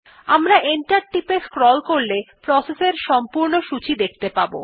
আমরা এন্টার টিপে স্ক্রল করলে প্রসেস এর সম্পূর্ণ সূচী দেখতে পারব